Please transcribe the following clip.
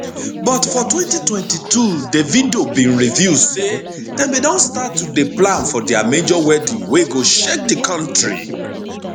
but for 2022 davido bin reveal say dem bin don start to dey plan for dia major wedding wey go shake di kontri